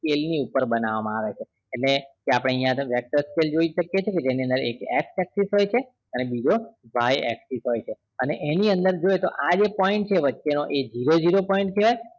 ની ઉપર બનવવા માં આવે છે એટલે કે આપડે અહિયાં તો vector skill જોઈ શકીએ છીએ કે જેની અંદર એક Xaccess હોય છે અને બીજો Yaccess હોય છે અને એની અંદર જોઈએ તો આ જે point છે વચે નો એ zero zero point કેવાય